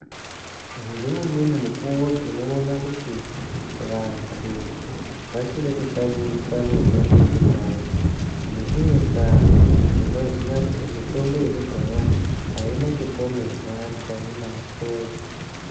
Ngeumweni mukuwo tinoona kuti vanthu vachiri kushandisa mitombo ye kudhaya. Ngeimwe ndaa tinoziya kuti mitombo yekudhaya, aina chipomerwa cheinacho.